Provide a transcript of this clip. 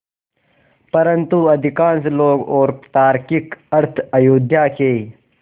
परन्तु अधिकांश लोग और तार्किक अर्थ अयोध्या के